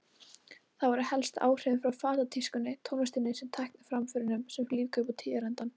Það voru helst áhrifin frá fatatískunni, tónlistinni og tækniframförunum sem lífguðu upp á tíðarandann.